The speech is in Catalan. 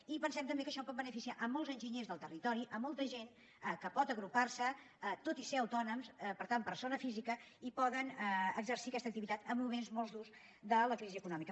i pensem també que això pot beneficiar molts enginyers del territori molta gent que pot agrupar se tot i ser autònoms per tant persones físiques i poden exercir aquesta activitat en moments molt durs de la crisi econòmica